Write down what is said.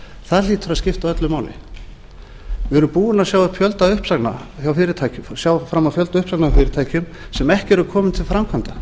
það hlýtur að skipta öllu máli við erum búin að sjá fram á fjölda uppsagna hjá fyrirtækjum sem ekki eru komin til framkvæmda